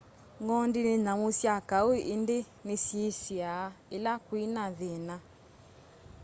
ng'ondi ni nyamu sya kau indi ni syisiaa ila kwina thina